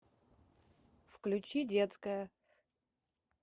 включи детская